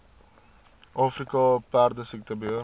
afrika perdesiekte beheer